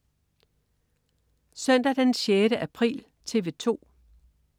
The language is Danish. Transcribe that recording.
Søndag den 6. april - TV 2: